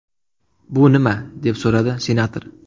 Bu nima?” deb so‘radi senator.